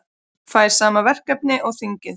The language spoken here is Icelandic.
Fær sama verkefni og þingið